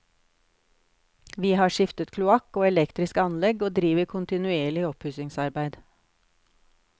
Vi har skiftet kloakk og elektrisk anlegg, og driver kontinuerlig oppussingsarbeid.